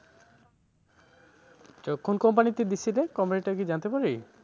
তো কোন company তে দিয়েছিলে? company টা কি জানতে পারি?